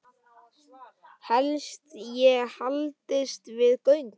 Helst ég haldist við á göngu.